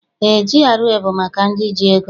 Eé, GRA bụ maka ndị ji ego.